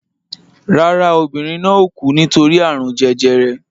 Rárá, obìnrin náà ò kú nítorí àrùn jẹjẹrẹ